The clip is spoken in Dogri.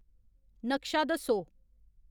नक्शा दस्सो